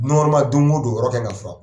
don go don yɔrɔ ka kan ka furan.